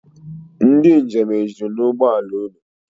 Ndị njem ejuru n'ụgbọla unu?